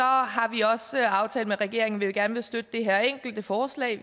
har vi også aftalt med regeringen at vi gerne vil støtte det her enkelte forslag